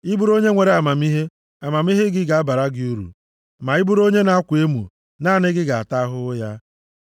Ị bụrụ onye nwere amamihe, amamihe gị ga-abara gị uru, ma ị bụrụ onye na-akwa emo, naanị gị ga-ata ahụhụ ya.